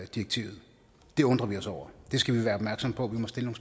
direktivet det undrer vi os over det skal vi være opmærksomme på vi må stille